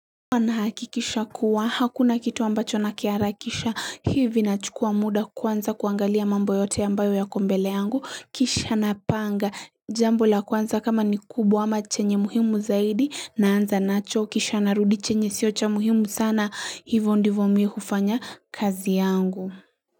Huwa nahakikisha kuwa hakuna kitu ambacho nakiarakisha hivi nachukua muda kwanza kuangalia mambo yote ambayo yako mbele yangu kisha napanga jambo la kwanza kama ni kubwa ama chenye muhimu zaidi naanza nacho kisha narudi chenye siocha muhimu sana hivyo ndivo miuhufanya kazi yangu.